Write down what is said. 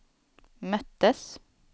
möttes